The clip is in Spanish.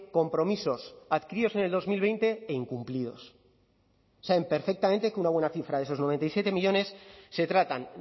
compromisos adquiridos en el dos mil veinte e incumplidos saben perfectamente que una buena cifra de esos noventa y siete millónes se tratan